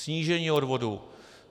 Snížení odvodů.